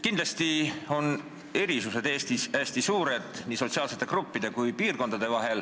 Kindlasti on erisused Eestis hästi suured, nii sotsiaalsete gruppide kui piirkondade vahel.